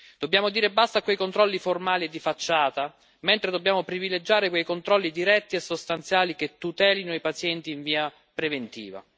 Dobbiamo dire basta ai controlli formali e di facciata, mentre dobbiamo privilegiare i controlli diretti e sostanziali che tutelino i pazienti in via preventiva.